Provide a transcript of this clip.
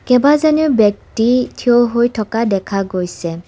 কেইবাজনো ব্যক্তি থিয় হৈ থকা দেখা গৈছে।